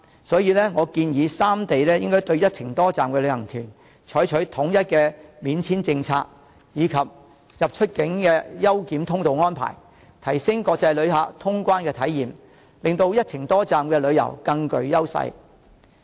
所以，我建議三地應該對"一程多站"的旅行團採取統一免簽證政策，以及安排出入境優檢通道，提升國際旅客的通關體驗，令到"一程多站"旅遊更具優勢。